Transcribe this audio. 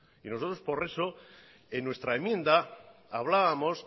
y nosotros por eso en nuestra enmienda hablábamos